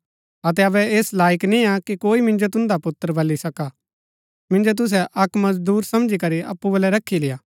अतै अबै ऐस लाईक नियां कि कोई मिन्जो तुन्दा पुत्र बल्ली सका मिन्जो तुसै अक्क मजदूर समझी करी अप्पु बलै रखी लेय्आ